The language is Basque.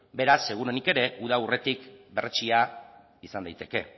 beraz seguruenik ere uda aurretik berretsia izan daiteke